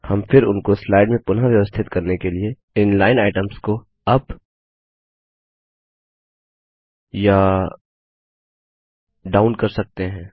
हम फिर उनको स्लाइड में पुनः व्यवस्थित करने के लिए इन लाइन आइटम्स को अप या डाउन कर सकते हैं